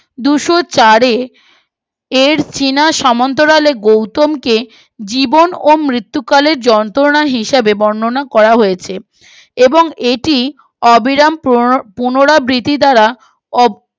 দুইশো চারে এর চীনা সমান্তরাল গৌতমকে জীবন ও মৃত্যুকালে যন্ত্রনা হিসাবে বর্ননা করা হয়েছে এবং এটি অবিরাম পুনো পুরোরাবিতি দ্বারা